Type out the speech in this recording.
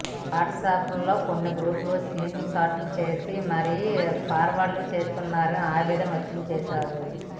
WhatsApp లలో కొన్ని గ్రూపులు స్క్రీన్ షాట్లు చేసి మరి ఫార్వర్డ్ చేస్తున్నారని ఆవేదన వ్యక్తం చేశారు